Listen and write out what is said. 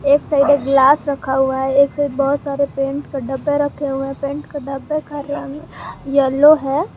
एक साइड एक ग्लास रखा हुआ है एक साइड बहुत सारे पेंट का डब्बे रखे हुए है पेंट का डब्बा का रंग येलो है।